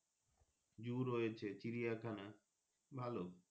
zoo রয়েছে চিড়িখানা ভালো।